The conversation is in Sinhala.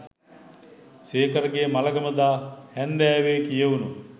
සේකරගේ මළගම දා හැංදෑවේ කියැවුණු